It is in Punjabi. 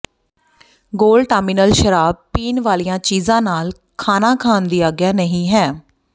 ਗੋਲਟਾਮਿਨਲ ਸ਼ਰਾਬ ਪੀਣ ਵਾਲੀਆਂ ਚੀਜ਼ਾਂ ਨਾਲ ਖਾਣਾ ਖਾਣ ਦੀ ਆਗਿਆ ਨਹੀਂ ਹੈ